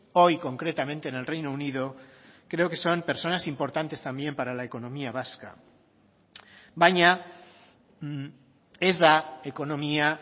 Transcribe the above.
hoy concretamente en el reino unido creo que son personas importantes también para la economía vasca baina ez da ekonomia